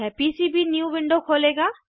यह PCB new window खोलेगा